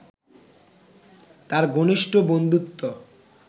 তাঁর ঘনিষ্ঠ বন্ধুত্ব